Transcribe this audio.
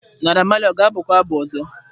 Naira Marley ọ ga-abụ kwa abụ ọzọ?